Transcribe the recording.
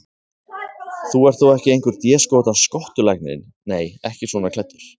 Þú ert þó ekki einhver déskotans skottulæknirinn. nei, ekki svona klæddur.